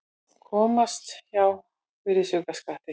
Komast hjá virðisaukaskatti